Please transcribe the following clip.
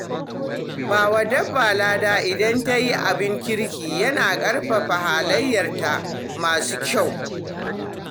Ba wa dabba lada idan ta yi abin kirki yana ƙarfafa halayenta masu kyau.